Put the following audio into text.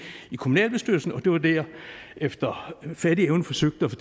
i kommunalbestyrelsen det var det jeg efter fattig evne forsøgte at